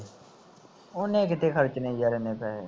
ਉਹਨੇ ਕਿੱਥੇ ਖਰਚਨੇ ਯਾਰ ਏਨੇ ਪੈਸੇ